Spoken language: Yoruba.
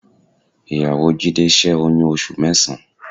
Ìyàwó Jídé ṣẹ́ oyún oṣù mẹ́sàn-án